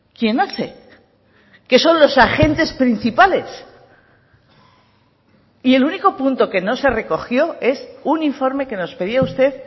quién hace que son los agentes principales y el único punto que no se recogió es un informe que nos pedía usted